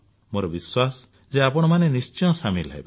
ମୋର ବିଶ୍ୱାସ ଯେ ଆପଣମାନେ ନିଶ୍ଚୟ ସାମିଲ ହେବେ